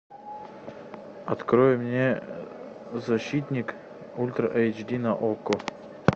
открой мне защитник ультра эйч ди на окко